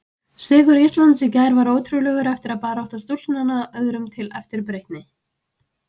Sigur Íslands í gær var ótrúlegur og barátta stúlknanna öðrum til eftirbreytni.